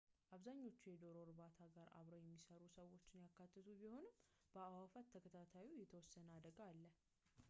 አብዛኛዎቹ ከዶሮ እርባታ ጋር አብረው የሚሰሩ ሰዎችን ያካተቱ ቢሆንም በአእዋፋት ተከታታዮችም የተወሰነ አደጋ አለ